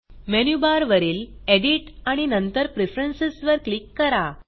menu bar वरील edit आणि नंतर प्रेफरन्स वर क्लिक करा